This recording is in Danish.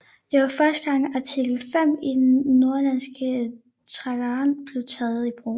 Det var første gang artikel 5 i den Nordatlantiske Traktat blev taget i brug